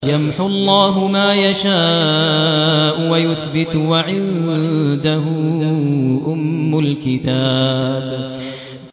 يَمْحُو اللَّهُ مَا يَشَاءُ وَيُثْبِتُ ۖ وَعِندَهُ أُمُّ الْكِتَابِ